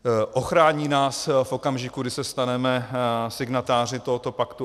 Ochrání nás v okamžiku, kdy se staneme signatáři tohoto paktu?